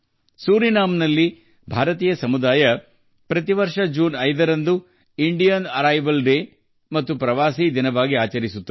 ಸುರಿನಾಮ್ನಲ್ಲಿರುವ ಭಾರತೀಯ ಸಮುದಾಯವು ಪ್ರತಿ ವರ್ಷ ಜೂನ್ 5 ಅನ್ನು ಭಾರತೀಯ ಆಗಮನ ದಿನ ಮತ್ತು ಪ್ರವಾಸಿ ದಿನ ಎಂದು ಆಚರಿಸುತ್ತಾರೆ